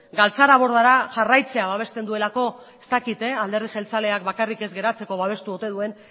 galtzarabordara jarraitzea babesten duelako ez dakit alderdi jeltzaleak bakarrik ez geratzeko babestu ote duen